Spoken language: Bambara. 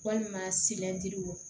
Walima